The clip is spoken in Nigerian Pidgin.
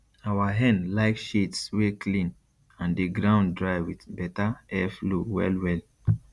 our hen like shades wey clean and the ground dry with better airflow well well